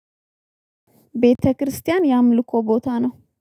ቤተክርስቲያን የአምልኮ ቦታ ነው።